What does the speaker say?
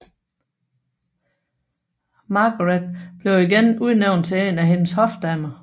Margaret blev igen udnævnt til en af hendes hofdamer